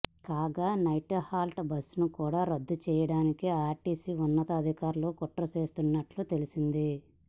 కాగా నైట్హాల్ట్ బస్సులను కూడా రద్దు చేయడానికి ఆర్టీసీ ఉన్నతాధికారులు కుట్ర చేస్తున్నట్లు తెలిసింది